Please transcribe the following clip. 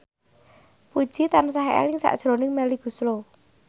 Puji tansah eling sakjroning Melly Goeslaw